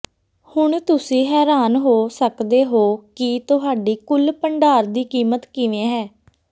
ਹੁਣ ਤੁਸੀਂ ਹੈਰਾਨ ਹੋ ਸਕਦੇ ਹੋ ਕਿ ਤੁਹਾਡੀ ਕੁਲ ਭੰਡਾਰ ਦੀ ਕੀਮਤ ਕਿਵੇਂ ਹੈ